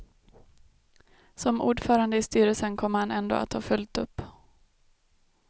Som ordförande i styrelsen kommer han ändå att ha fullt upp.